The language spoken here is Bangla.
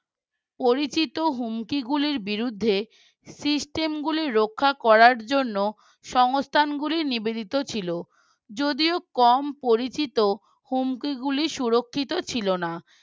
পরিচিত হুমকিগুলির বিরুদ্ধে system গুলি রক্ষা করার জন্য সংস্থান গুলি নিবেদিত ছিল যদিও কম পরিচিত হুমকি গুলি সুরক্ষিত ছিল না